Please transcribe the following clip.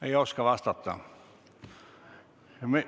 Ei oska vastata.